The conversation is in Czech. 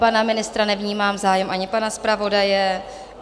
Pana ministra nevnímám zájem, ani pana zpravodaje.